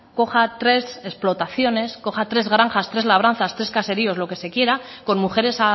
coja tres explotaciones coja tres granjas tres labranzas tres caseríos lo que se quiera con mujeres